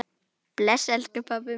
Bless, elsku pabbi minn.